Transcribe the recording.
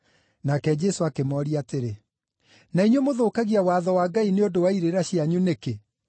Nake Jesũ akĩmooria atĩrĩ, “Na inyuĩ mũthũkagia watho wa Ngai nĩ ũndũ wa irĩra cianyu nĩkĩ?